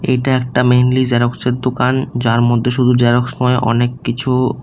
এটা একটা মেইনলি জেরক্সের দোকান যার মধ্যে শুধু জেরক্স হয় অনেককিছু।